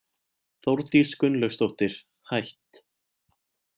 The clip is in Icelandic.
Þórdís Gunnlaugsdóttir, hætt